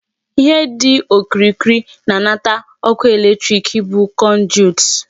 Ihe dị okirikiri na-anata ọkụ electric bụ conduit.